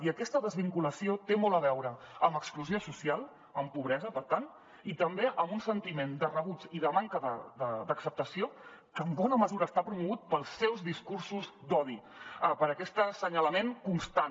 i aquesta desvinculació té molt a veure amb exclusió social amb pobresa per tant i també amb un sentiment de rebuig i de manca d’acceptació que en bona mesura està promogut pels seus discursos d’odi per aquest assenyalament constant